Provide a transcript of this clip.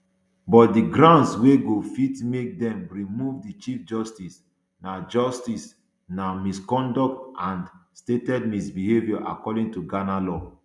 but di grounds wey go fit make dem remove di chief justice na justice na misconduct and stated misbehaviour according to ghana law